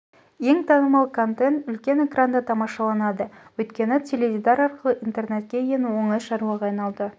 ең танымал контент үлкен экранда тамашаланады өйткені теледидар арқылы интернетке ену оңай шаруаға айналды